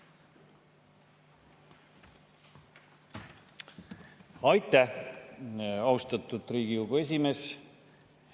Aitäh, austatud Riigikogu esimees!